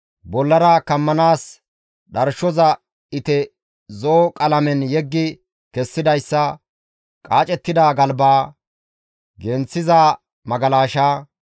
bollara kammanaas dharshoza ite zo7o qalamen yeggi kessidayssa, qaacettida galba, genththiza magalasha,